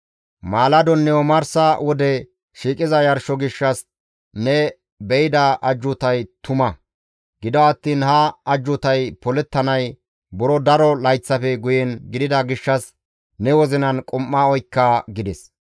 «Maaladonne omarsa wode shiiqiza yarsho gishshas ne be7ida ajjuutay tuma; gido attiin ha ajjuutay polettanay buro daro layththafe guyen gidida gishshas ne wozinan qum7a oykka» gides.